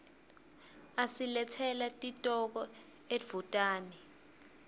asiletsela titoko edvutane